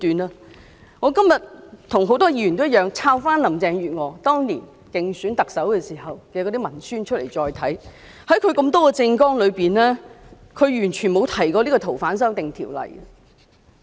跟很多議員一樣，我今天也找出林鄭月娥當年競選特首時的文宣再次細讀，發現她多項政綱中，並無提及修訂《逃犯條例》。